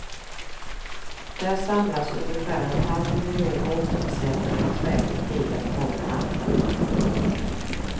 Där samlas ungefär en halv miljon återförsäljare och stjäl ideer från varandra.